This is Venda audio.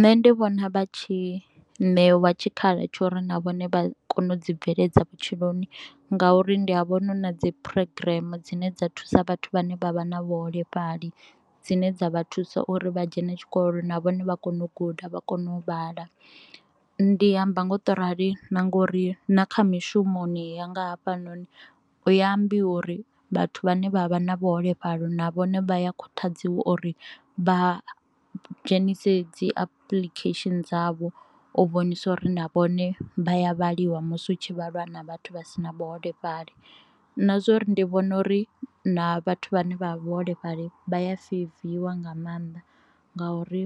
Nṋe ndi vhona vha tshi ṋewa tshikhala tsho uri na vhone vha kone u dzi bveledza vhutshiloni ngauri ndi a vhona hu na dzi program dzine dza thusa vhathu vhane vha vha na vhuholefhali dzine dza vha thusa uri vha dzhena tshikolo na vhone vha kone u guda vha kone u vhala. Ndi amba ngo to rali na ngori na kha mishumoni yanga hafhanoni hu a ambiwa uri vhathu vhane vha vha na vhuholefhali na vhone vha ya khuthadziwa uri vha dzhenise dzi apuḽikhesheni dzavho u vhonisa uri na vhone vha ya vhaliwa musi hu tshi vhalwa na vhathu vhasina vhuholefhali, na zwa uri ndi vhona uri na vhathu vhane vha vhaholefhali vha ya feiviwa nga mannḓa ngauri